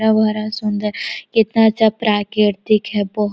सुन्दर कितना अच्छा प्राकृतिक है बहुत --